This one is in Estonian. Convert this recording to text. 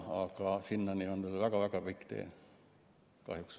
Aga sinnani on veel väga-väga pikk tee kahjuks.